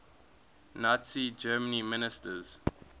nazi germany ministers